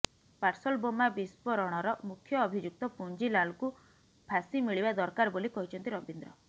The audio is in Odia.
ପାର୍ସଲ ବୋମା ବିସ୍ଫୋରଣର ମୁଖ୍ୟ ଅଭିଯୁକ୍ତ ପୁଞ୍ଜିଲାଲକୁ ଫାଶି ମିଳିବା ଦରକାର ବୋଲି କହିଛନ୍ତି ରବୀନ୍ଦ୍ର